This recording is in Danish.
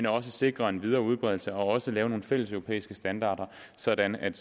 og at sikre en videre udbredelse og at lave nogle fælleseuropæiske standarder sådan at